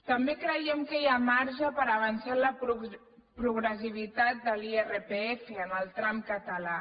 també creiem que hi ha marge per avançar en la progressivitat de l’irpf en el tram català